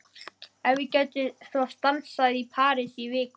Ef ég gæti svo stansað í París í viku?